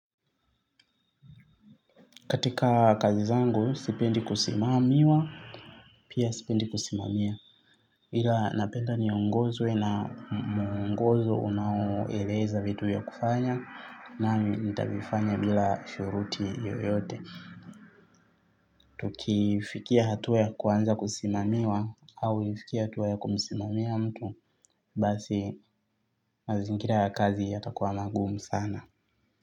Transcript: Katika kazi zangu, sipendi kusimamiwa, pia sipendi kusimamia. Ila napenda niongozwe na ungozo unaoeleza vitu vya kufanya, nami nitavifanya bila shuhuruti yoyote. Tukifikia hatua ya kuanza kusimamiwa, au nifikie hatua ya kumsimamia mtu, basi mazingira ya kazi yatakuwa magumu sana.